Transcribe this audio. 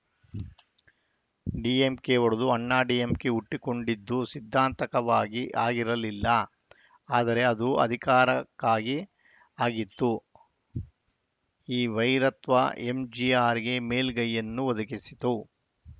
DMK ಒಡೆದು Anna DMK ಹುಟ್ಟಿಕೊಂಡಿದ್ದು ಸಿದ್ಧಾಂತಕವಾಗಿ ಆಗಿರಲಿಲ್ಲ ಆದರೆ ಅದು ಅಧಿಕಾರಕ್ಕಾಗಿ ಆಗಿತ್ತು ಈ ವೈರತ್ವ ಎಂಜಿಆರ್‌ಗೆ ಮೇಲುಗೈಯನ್ನು ಒದಗಿಸಿತು